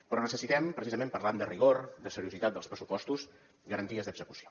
però necessitem precisament parlant de rigor de seriositat dels pressupostos garanties d’execució